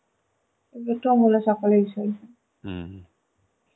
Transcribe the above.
দেখলাম সকালে বিসর্জন